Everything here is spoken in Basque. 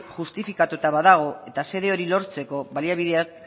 justifikatuta badago eta xede hori lortzeko baliabideak